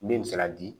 Min me se ka di